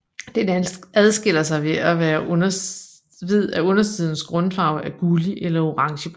Den adskiller sig ved at undersidens grundfarve er gullig eller orangebrun